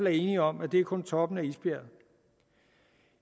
er enige om at det kun er toppen af isbjerget